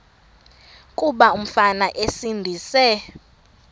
kuba umfana esindise